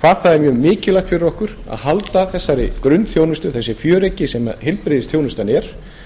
hvað það er mikilvægt fyrir okkur að halda þessari grunnþjónustu þessu fjöreggi sem heilbrigðisþjónustan er